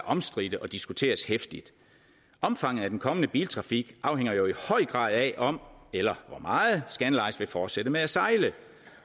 omstridte og diskuteres heftigt omfanget af den kommende biltrafik afhænger jo i høj grad af om eller hvor meget scandlines vil fortsætte med at sejle